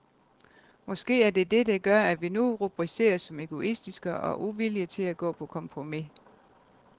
Måske er det det, der gør, at vi nu rubriceres som egoistiske og uvillige til at gå på kompromis.